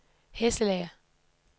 Hesselager